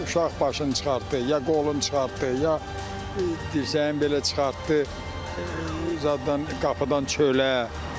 Uşaq başını çıxartdı, ya qolunu çıxartdı, ya dirsəyini belə çıxartdı zaddan, qapıdan çölə.